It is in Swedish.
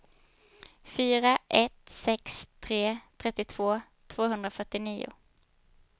fyra ett sex tre trettiotvå tvåhundrafyrtionio